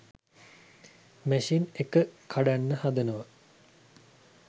machine එක කඩන්න හදනවා